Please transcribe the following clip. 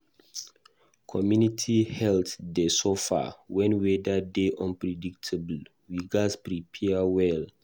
Community health dey suffer wen weather dey unpredictable; we gatz prepare well.